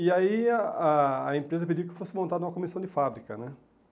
E aí a a a empresa pediu que fosse montada uma comissão de fábrica, né?